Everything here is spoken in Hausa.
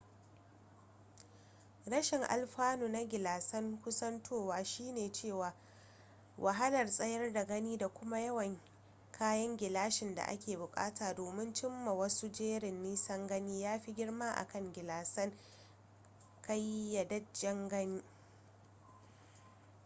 rashin alfanu na gilasan kusantowa shine cewa wahalar tsayar da gani da kuma yawan kayan gilashin da ake bukata domin cim ma wasu jerin nisan gani ya fi girma akan gilasan ƙayyadajjen gani